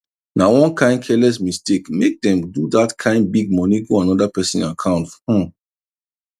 na one kain careless mistake make them do that kain big money go another person account um